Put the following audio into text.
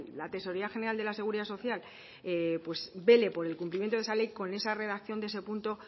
la tesorería general de la seguridad social vele por el cumplimiento de esa ley con esa redacción de ese punto